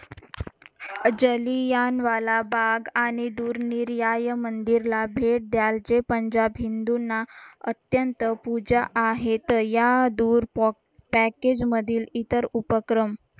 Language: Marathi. जालियान वाला बाग आणि दूर निर्याय मंदिर ला भेट द्यायचे पंजाब हिंदूंना अत्यंत पूजा आहेत या दूर पॅकेज मधील इतर उपक्रम